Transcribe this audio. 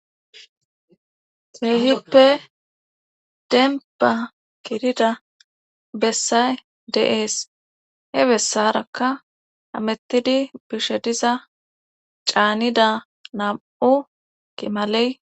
Feehippe denpa kirida bessay deees he bessarakka amettidi bishe diza caanida nam7u kimaley